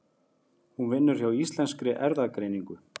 Hún vinnur hjá Íslenskri erfðagreiningu.